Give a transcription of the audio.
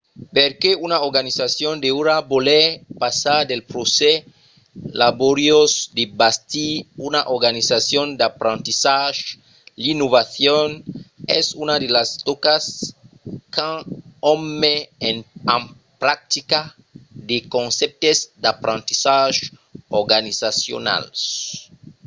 perqué una organizacion deuriá voler passar pel procès laboriós de bastir una organizacion d’aprendissatge? l'innovacion es una de las tòcas quand òm met en practica de concèptes d'aprendissatges organizacionals